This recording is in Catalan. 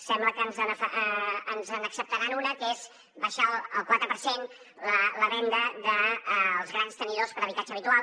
sembla que ens n’acceptaran una que és baixar al quatre per cent la venda dels grans tenidors per habitatge habitual